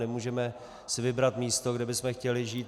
Nemůžeme si vybrat místo, kde bychom chtěli žít.